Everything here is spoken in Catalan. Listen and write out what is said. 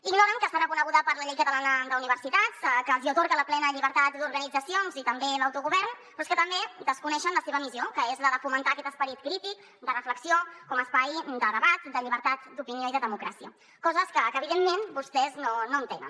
ignoren que està reconeguda per la llei catalana d’universitats que els hi atorga la plena llibertat d’organitzacions i també l’autogovern però és que també desconeixen la seva missió que és la de fomentar aquest esperit crític de reflexió com a espai de debat de llibertat d’opinió i de democràcia coses que evidentment vostès no entenen